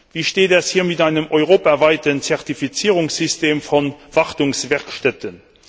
Wie steht es hier mit einem europaweiten Zertifizierungssystem von Wartungswerkstätten?